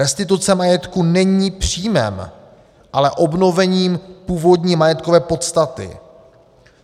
Restituce majetku není příjmem, ale obnovením původní majetkové podstaty.